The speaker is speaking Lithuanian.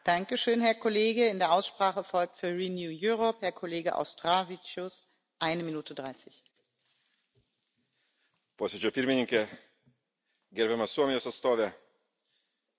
Posėdžio Pirmininke, gerbiama Suomijos atstove, Komisijos atstove, kolegos, praėjus beveik 30 čiai metų po Lietuvos išsivadavimo iš Sovietų Sąjungos okupacijos gniaužtų